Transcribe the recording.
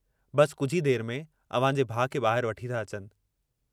बस कुझ ई देर में अव्हांजे भाउ खे बाहिर वठी था अचनि।